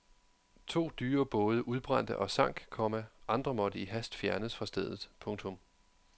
To dyre både udbrændte og sank, komma andre måtte i hast fjernes fra stedet. punktum